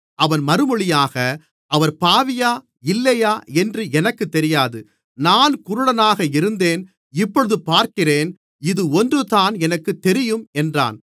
அவன் மறுமொழியாக அவர் பாவியா இல்லையா என்று எனக்குத் தெரியாது நான் குருடனாக இருந்தேன் இப்பொழுது பார்க்கிறேன் இது ஒன்றுதான் எனக்குத் தெரியும் என்றான்